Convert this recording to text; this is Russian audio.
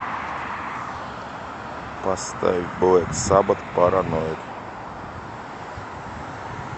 поставь блэк сабат параноид